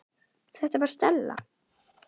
Þetta var Stella.